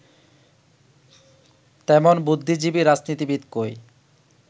তেমন বুদ্ধিজীবী রাজনীতিবিদ কই